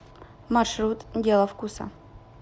маршрут дело вкуса